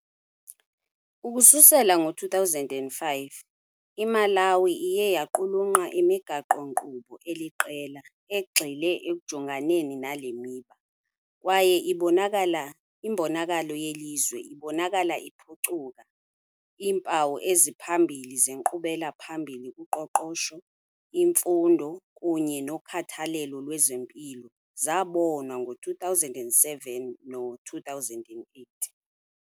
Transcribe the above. Ukusukela ngo-2005, iMalawi iye yaqulunqa imigaqo-nkqubo eliqela egxile ekujonganeni nale miba, kwaye imbonakalo yelizwe ibonakala iphucuka- Iimpawu eziphambili zenkqubela phambili kuqoqosho, imfundo, kunye nokhathalelo lwezempilo zabonwa ngo-2007 no-2008.